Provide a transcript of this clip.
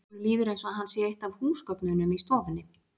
Honum líður eins og hann sé eitt af húsgögnunum í stofunni.